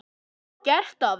Vel gert, afi.